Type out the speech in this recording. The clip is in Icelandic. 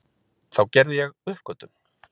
Þá gerði ég uppgötvun